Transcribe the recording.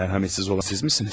Rəhimsiz olan sizsinizmi?